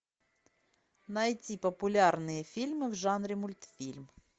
найти популярные фильмы в жанре мультфильм